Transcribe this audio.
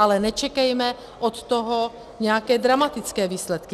Ale nečekejme od toho nějaké dramatické výsledky.